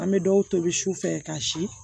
An bɛ dɔw tobi sufɛ ka si